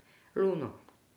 Luno.